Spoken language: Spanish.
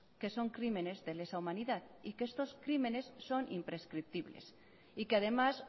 que son crímenes de la humanidad que estos crímenes son imprescriptibles y que además